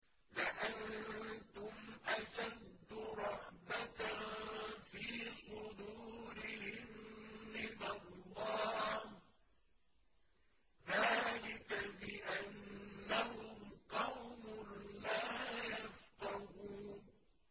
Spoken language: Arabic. لَأَنتُمْ أَشَدُّ رَهْبَةً فِي صُدُورِهِم مِّنَ اللَّهِ ۚ ذَٰلِكَ بِأَنَّهُمْ قَوْمٌ لَّا يَفْقَهُونَ